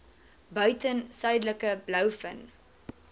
buiten suidelike blouvin